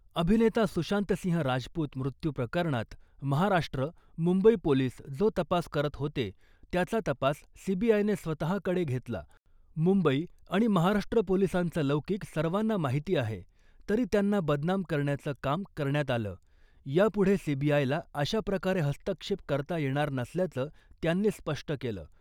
अभिनेता सुशांतसिंह राजपूत मृत्यू प्रकरणात महाराष्ट्र , मुंबई पोलीस जो तपास करत होते , त्याचा तपास सीबीआयने स्वतःकडे घेतला , मुंबई आणि महाराष्ट्र पोलिसांचा लौकिक सर्वांना माहिती आहे , तरी त्यांना बदनाम करण्याचं काम करण्यात आलं , यापुढे सीबीआयला अशा प्रकारे हस्तक्षेप करता येणार नसल्याचं त्यांनी स्पष्ट केलं .